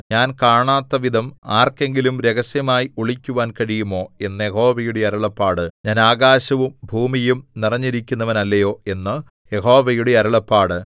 ഞാൻ കാണാത്തവിധം ആർക്കെങ്കിലും രഹസ്യമായി ഒളിക്കുവാൻ കഴിയുമോ എന്ന് യഹോവയുടെ അരുളപ്പാട് ഞാൻ ആകാശവും ഭൂമിയും നിറഞ്ഞിരിക്കുന്നവനല്ലയോ എന്ന് യഹോവയുടെ അരുളപ്പാട്